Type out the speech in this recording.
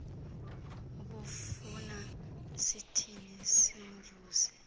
ubufuna sithini simvuse